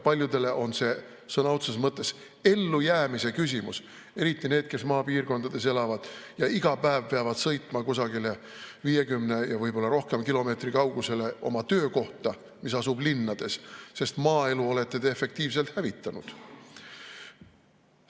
Paljudele on see sõna otseses mõttes ellujäämise küsimus, eriti nendele, kes maapiirkonnas elavad ja iga päev peavad sõitma kusagile 50 ja võib-olla rohkem kilomeetri kaugusele oma töökohta, mis asub linnas, sest maaelu olete te efektiivselt hävitanud.